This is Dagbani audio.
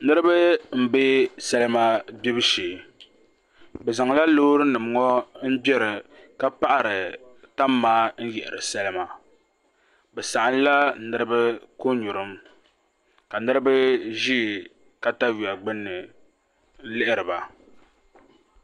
Niraba n bɛ salima gbibu shee bi zaŋla loori nim ŋo n gbiri ka paɣari tam maa n yihiri salima bi saɣamla niraba ko nyurim ka niraba ʒi katawiya gbunni n lihiriba